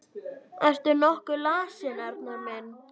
Ertu nokkuð lasinn, Arnar minn?